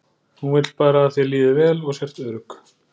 Hún vill bara að þér líði vel og sért örugg.